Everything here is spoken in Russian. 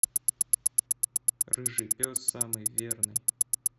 рыжий пес самый верный